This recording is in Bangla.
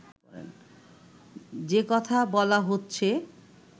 যে কথা বলা হচ্ছে